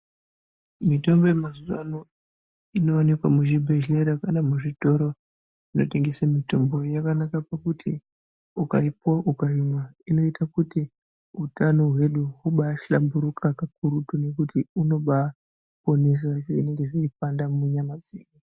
Mitombo ye mazuva ano ino onekwa mu zvibhedhlera kana mu zvitoro zvino tengese mitombo yakanaka pakuti uka ipuwa ukaimwa ino ita kuti utano hwedu hubai hlamburuka kakurutu nekuti huno bai onesa zvinenge zvei panda munyama. dzedu.